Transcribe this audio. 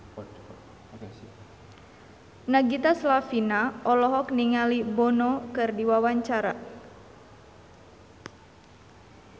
Nagita Slavina olohok ningali Bono keur diwawancara